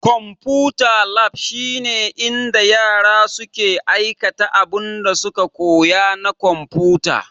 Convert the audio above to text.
Konfuta lab shine inda yara suke aikata abinda suka koya na konfuta.